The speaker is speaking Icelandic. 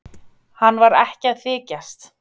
Hann var ekki að þykjast.